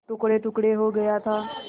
टुकड़ेटुकड़े हो गया था